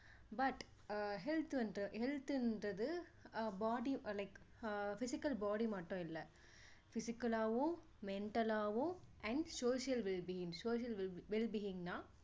but ah health வந்து health ன்றது body like physical body மட்டும் இல்லை physical லாவும் mental லாவும் and social wellbeing social well being ன்னா